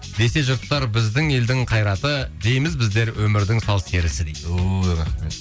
десе жұрттар біздің елдің қайраты дейміз біздер өмірдің сал серісі дейді ой рахмет